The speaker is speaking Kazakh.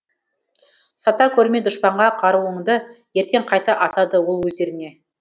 сата көрме дұшпанға қаруыңды ертең қайта атады ол өздеріңе